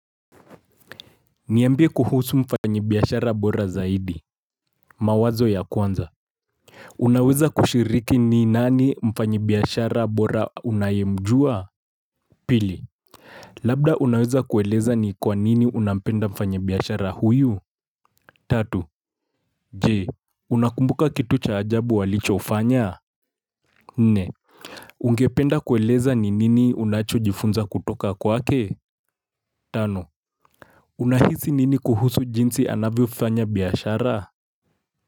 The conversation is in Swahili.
Niambie kuhusu mfanyi biashara bora zaidi. Mawazo ya kwanza Unaweza kushiriki ni nani mfanyibiashara bora unayemjua? Pili Labda unaweza kueleza ni kwa nini unapenda mfanyibiashara huyu Tatu, Je, unakumbuka kitu cha ajabu walichofanya? Nne, ungependa kueleza ni nini unachojifunza kutoka kwake? Tano, Unahisi nini kuhusu jinsi anavyofanya biashara?